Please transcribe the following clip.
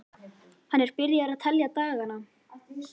Hann er byrjaður að telja dagana.